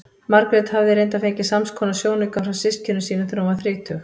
Sögnin er leidd af nafnorðinu skál sem menn notuðu í fornu máli um drykkjarílát.